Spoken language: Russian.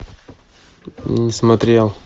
не смотрел